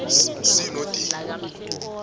c no d